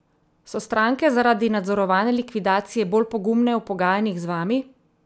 So stranke zaradi nadzorovane likvidacije bolj pogumne v pogajanjih z vami?